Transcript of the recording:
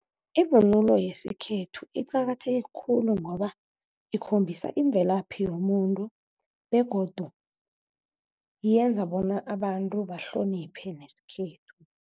Ivunulo yesikhethu iqakatheke khulu, ngoba ikhombisa imvelaphi yomuntu begodu yenza bona abantu bahloniphe nesikhethu.